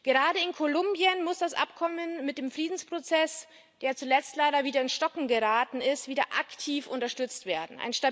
Gerade in Kolumbien muss das Abkommen mit dem Friedensprozess, der zuletzt leider wieder ins Stocken geraten ist, wieder aktiv unterstützt werden.